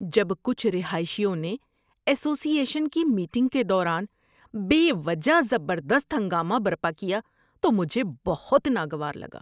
جب کچھ رہائشیوں نے ایسوسی ایشن کی میٹنگ کے دوران بے وجہ زبردست ہنگامہ برپا کیا تو مجھے بہت ناگوار لگا۔